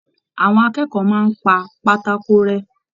Àwọn akẹ́kọ̀ọ́ máa n pá pátákó rẹ.